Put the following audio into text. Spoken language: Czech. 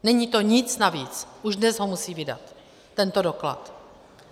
Není to nic navíc, už dnes ho musí vydat, tento doklad.